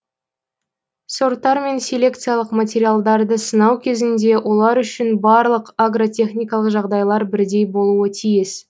сорттар мен селекциялық материалдарды сынау кезінде олар үшін барлық агротехникалық жағдайлар бірдей болуы тиіс